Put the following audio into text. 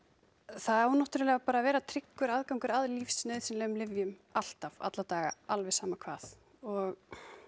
það á náttúrulega bara að vera tryggur aðgangur að lífsnauðsynlegum lyfjum alltaf alla daga alveg sama hvað og